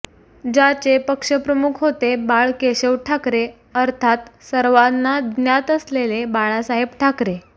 ज्याचे पक्षप्रमुख होते बाळ केशव ठाकरे अर्थात सर्वांना ज्ञात असलेले बाळासाहेब ठाकरे